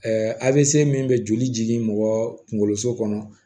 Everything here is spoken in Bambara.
avc min bɛ joli jigin mɔgɔ kunkoloso kɔnɔ